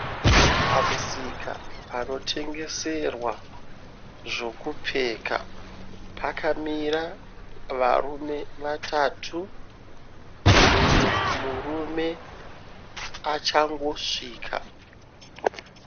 Pamusika panotengeserwa zvekupfeka, pakamira varume vatatu, mumwe murume achangosvika.